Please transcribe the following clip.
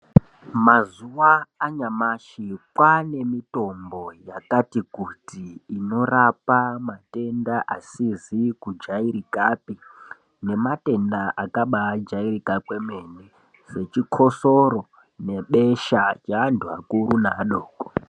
Mazuva anyamashi kwavane nemutombo yakati kuti inorapa matenda asizi kujairikapi nematenda akaba jairika kwemene sechikosoro nebesha revantu vakura nevadoko.